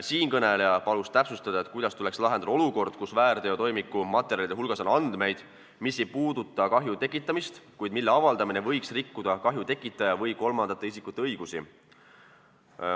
Siinkõneleja palus täpsustada, kuidas tuleks lahendada olukord, kus väärteotoimiku materjalide hulgas on andmeid, mis ei puuduta kahju tekitamist, kuid mille avaldamine võiks rikkuda kahju tekitaja või kolmandate isikute õigusi.